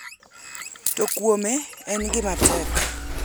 To kuome, en gima tek.